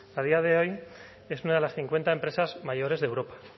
a día de hoy es una de las cincuenta empresas mayores de europa